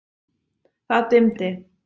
Það dimmdi.